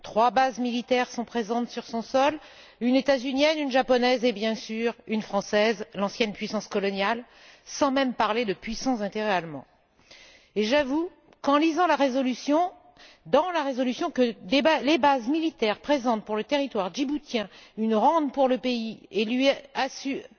Trois bases militaires sont présentes sur son sol une états unienne, une japonaise et, bien sûr, une française l'ancienne puissance coloniale sans même parler de puissants intérêts allemands. J'avoue qu'en lisant, dans la résolution, que les bases militaires présentent, pour le territoire djiboutien, une rente pour le pays et lui assurent